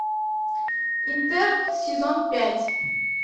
интерны сезон пять